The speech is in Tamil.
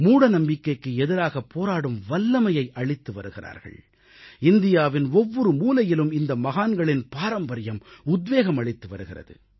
மூடநம்பிக்கைக்கு எதிராக போராடும் வல்லமையை அளித்து வருகிறார்கள் இந்தியாவின் ஒவ்வொரு மூலையிலும் இந்த மகான்களின் பாரம்பரியம் உத்வேகம் அளித்து வருகிறது